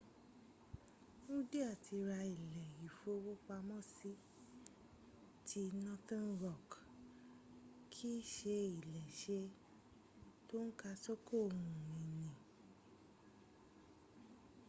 wúndíá ti ra ilé ìfowópamọ́sí” ti northern rock kì í se iléeṣẹ́ tó ń sàkóso ohun ìní